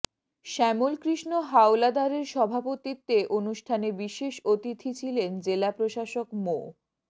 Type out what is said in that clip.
শ্যামল কৃষ্ণ হাওলাদারের সভাপতিত্বে অনুষ্ঠানে বিশেষ অতিথি ছিলেন জেলা প্রশাসক মো